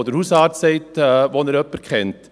Der Hausarzt sagt, wo er jemanden kennt.